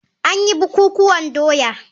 An yi bukukuwan doya.